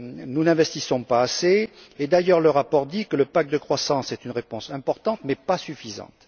Nous n'investissons pas assez et, d'ailleurs, le rapport dit que le pacte de croissance est une réponse importante mais pas suffisante.